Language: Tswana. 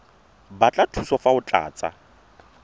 batla thuso fa o tlatsa